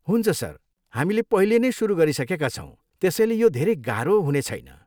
हुन्छ सर, हामीले पहिले नै सुरु गरिसकेका छौँ त्यसैले यो धेरै गाह्रो हुनेछैन।